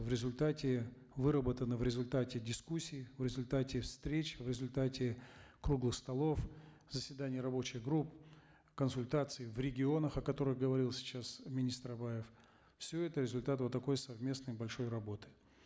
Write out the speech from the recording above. в результате выработаны в результате дискуссий в результате встреч в результате круглых столов заседаний рабочих групп консультаций в регионах о которых говорил сейчас министр абаев все это результат вот такой совместной большой работы